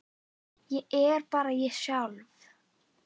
Ég er bara ég sjálf.